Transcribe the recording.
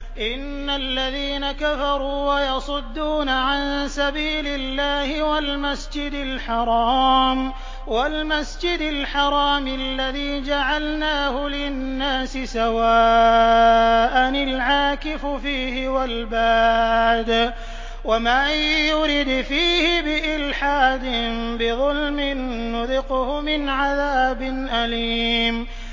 إِنَّ الَّذِينَ كَفَرُوا وَيَصُدُّونَ عَن سَبِيلِ اللَّهِ وَالْمَسْجِدِ الْحَرَامِ الَّذِي جَعَلْنَاهُ لِلنَّاسِ سَوَاءً الْعَاكِفُ فِيهِ وَالْبَادِ ۚ وَمَن يُرِدْ فِيهِ بِإِلْحَادٍ بِظُلْمٍ نُّذِقْهُ مِنْ عَذَابٍ أَلِيمٍ